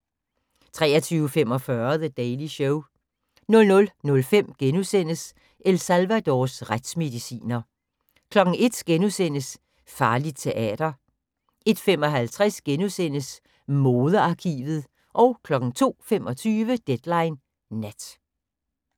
23:45: The Daily Show 00:05: El Salvadors retsmediciner * 01:00: Farligt teater * 01:55: Modearkivet * 02:25: Deadline Nat